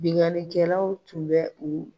Binianikɛlaw tun bɛ u